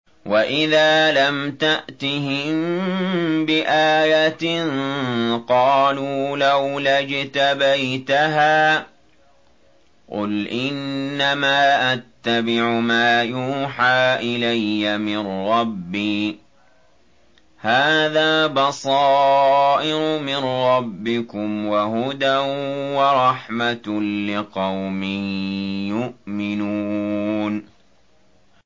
وَإِذَا لَمْ تَأْتِهِم بِآيَةٍ قَالُوا لَوْلَا اجْتَبَيْتَهَا ۚ قُلْ إِنَّمَا أَتَّبِعُ مَا يُوحَىٰ إِلَيَّ مِن رَّبِّي ۚ هَٰذَا بَصَائِرُ مِن رَّبِّكُمْ وَهُدًى وَرَحْمَةٌ لِّقَوْمٍ يُؤْمِنُونَ